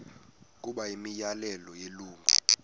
okanye imiyalelo yelungu